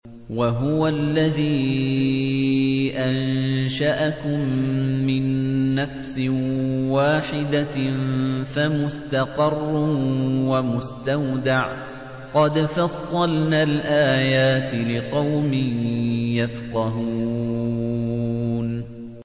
وَهُوَ الَّذِي أَنشَأَكُم مِّن نَّفْسٍ وَاحِدَةٍ فَمُسْتَقَرٌّ وَمُسْتَوْدَعٌ ۗ قَدْ فَصَّلْنَا الْآيَاتِ لِقَوْمٍ يَفْقَهُونَ